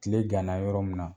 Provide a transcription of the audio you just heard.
Kile kanna yɔrɔ min na.